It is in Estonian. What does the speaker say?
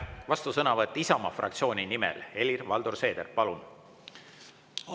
Vastusõnavõtt Isamaa fraktsiooni nimel, Helir-Valdor Seeder, palun!